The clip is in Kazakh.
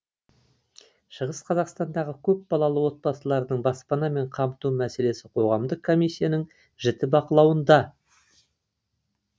шығыс қазақстандағы көпбалалы отбасылардың баспанамен қамту мәселесі қоғамдық комиссияның жіті бақылауында